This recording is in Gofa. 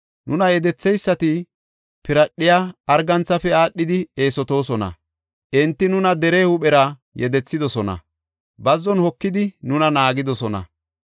Nuna yedetheysati piradhiya arganthafe aadhidi eesotoosona; enti nuna dere huuphera yedethidosona; bazzon hokidi nuna naagidosona.